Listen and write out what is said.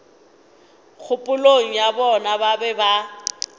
kgopolong ya bona ba be